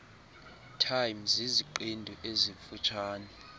time ziziqendu ezifutshane